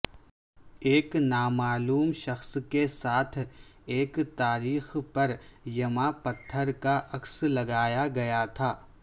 ایک نامعلوم شخص کے ساتھ ایک تاریخ پر یما پتھر کا عکس لگایا گیا تھا